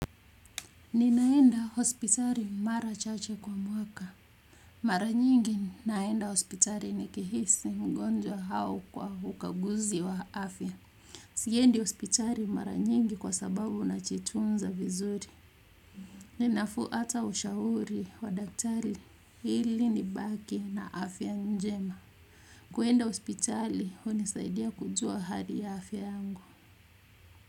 Ninaenda hospitali mara chache kwa mwaka. Mara nyingi naenda hospitali nikihisi mgonjwa hau kwa hukaguzi wa afya. Siendi hospitali mara nyingi kwa sababu najitunza vivuri. Ninafuata ushauri wa daktari hili nibake na afya njema. Kuenda hospitali hunisaidia kujua hali ya afya yangu.